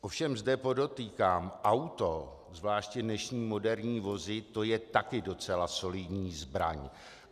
Ovšem zde podotýkám, auto, zvláště dnešní moderní vozy, to je taky docela solidní zbraň.